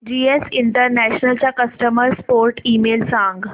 GS International चा customer support email सांग